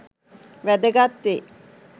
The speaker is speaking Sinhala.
වැදගත් වේ.